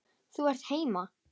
Þú ert heima!